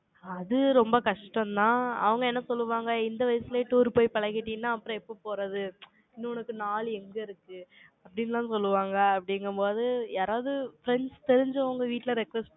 அது ரொம்ப கஷ்டம் தான். அவங்க என்ன சொல்லுவாங்க, இந்த வயசுலேயே tour போய் பழகிட்டீங்கன்னா, அப்புறம் எப்ப போறது? இன்னொன்னு உனக்கு நாலு எங்க இருக்கு? அப்படின்னு எல்லாம் சொல்லுவாங்க, அப்படிங்கும்போது, யாராவது friends தெரிஞ்சவங்க வீட்டுல request